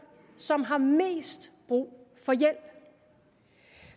som har mest brug for hjælp